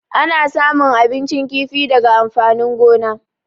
Ana samun abincin kifi daga amfanin gona.